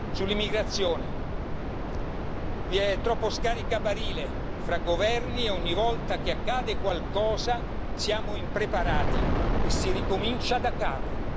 Sull'immigrazione, ad esempio, vi è troppo scaricabarile fra governi e ogni volta che accade qualcosa siamo impreparati e si ricomincia daccapo.